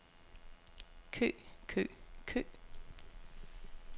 kø kø kø